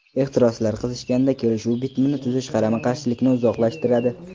Ehtiroslar qizishganda, kelishuv bitimini tuzish qarama-qarshilikni uzoqlashtiradi.